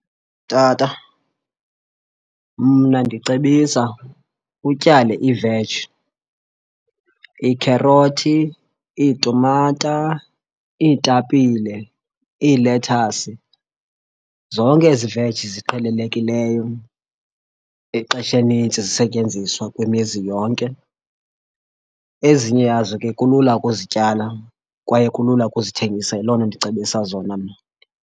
Tata, mna ndicebisa utyale iveji, iikherothi, iitumata, iitapile, iilethasi. Zonke ezi veji ziqhelelekileyo ixesha elinintsi zisetyenziswa kwimizi yonke. Ezinye yazo ke kulula ukuzityala kwaye kulula ukuzithengisa. Yiloo nto ndicebisa zona mna.